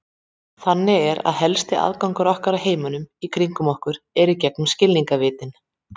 Þannig er að helsti aðgangur okkar að heiminum í kringum okkur er gegnum skilningarvitin.